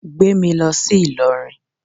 Gbé mi lọ sí Ìlọrin